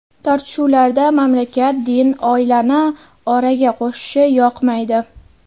Tortishuvlarda mamlakat, din, oilani oraga qo‘shishi yoqmaydi.